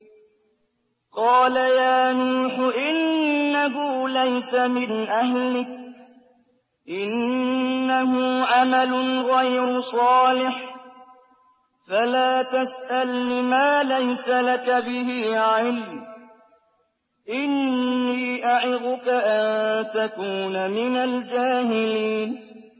قَالَ يَا نُوحُ إِنَّهُ لَيْسَ مِنْ أَهْلِكَ ۖ إِنَّهُ عَمَلٌ غَيْرُ صَالِحٍ ۖ فَلَا تَسْأَلْنِ مَا لَيْسَ لَكَ بِهِ عِلْمٌ ۖ إِنِّي أَعِظُكَ أَن تَكُونَ مِنَ الْجَاهِلِينَ